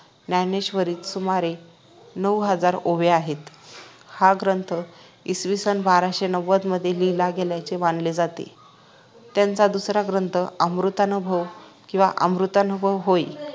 ज्ञानेश्वरीत सुमारे नऊहजार ओव्या आहेत हा ग्रंथ इसविसन बाराशेनव्वद मध्ये लिहिला गेल्याचे मानले जाते त्यांचा दुसरा ग्रंथ आनुभवामृत किव्हा अमृतानुभव होय